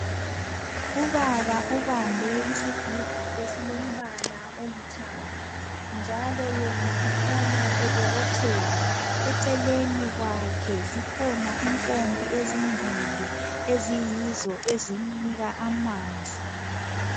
Ubaba ubambe isigubhu esilombala olithanga njalo yena ukhanya ebobotheka , eceleni kwakhe zikhona impompi ezimbili eziyizo ezimnika amanzi.